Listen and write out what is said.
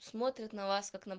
смотрят на вас как на